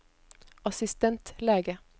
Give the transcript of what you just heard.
assistentlege